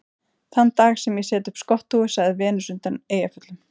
Þann dag sem ég set upp skotthúfu, sagði Venus undan Eyjafjöllum